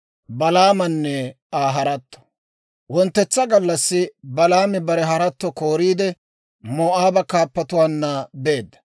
Wonttetsa gallassi Balaami bare haratto kooriide, Moo'aaba kaappatuwaanna beedda.